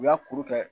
U y'a kuru kɛ